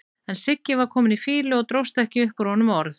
En Siggi var kominn í fýlu og dróst ekki upp úr honum orð.